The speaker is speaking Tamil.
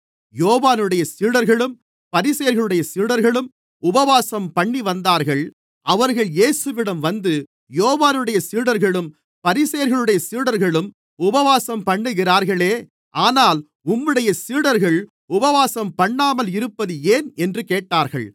யோவானுடைய சீடர்களும் பரிசேயர்களுடைய சீடர்களும் உபவாசம்பண்ணிவந்தார்கள் அவர்கள் இயேசுவிடம் வந்து யோவானுடைய சீடர்களும் பரிசேயர்களுடைய சீடர்களும் உபவாசம்பண்ணுகிறார்களே ஆனால் உம்முடைய சீடர்கள் உபவாசம்பண்ணாமல் இருப்பது ஏன் என்று கேட்டார்கள்